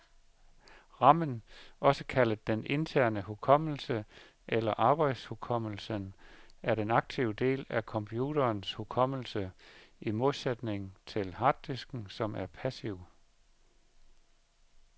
Ramen, også kaldet den interne hukommelse eller arbejdshukommelsen, er den aktive del af computerens hukommelse, i modsætning til harddisken, som er passiv.